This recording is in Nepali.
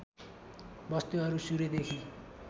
वस्तुहरू सूर्यदेखि